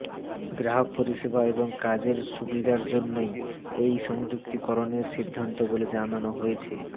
গ্রাহক পরিষেবা এবং কাজের সুবিধার জন্যই এই সংযুক্তিকরণের সিদ্ধান্ত বলে জানানো হয়েছে